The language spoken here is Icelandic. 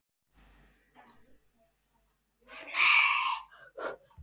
Hvernig hitar kvikan vatnið?